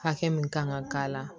Hakɛ min kan ka k'a la